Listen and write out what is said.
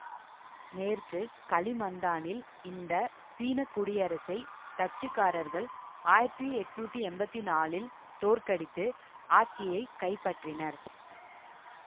மேற்கு கலிமந்தானில் இந்த சீன குடியரசை டச்சுக்காரர்கள் ஆயிரத்தி எட்ணூத்தி எம்பத்தி நாலில் தோற்கடித்து ஆட்சியை கைப்பற்றினர்